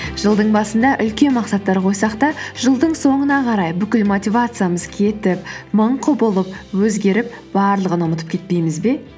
жылдың басында үлкен мақсаттар қойсақ та жылдың соңына қарай бүкіл мотивациямыз кетіп мың құбылып өзгеріп барлығын ұмытып кетпейміз бе